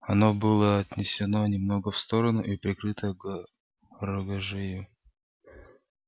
оно было отнесено немного в сторону и прикрыто рогожею